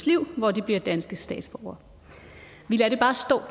liv hvor de bliver danske statsborgere vi lader det bare stå